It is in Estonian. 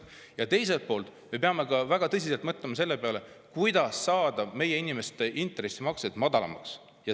Teiselt poolt me peame väga tõsiselt mõtlema selle peale, kuidas saada meie inimeste intressimaksed madalamaks.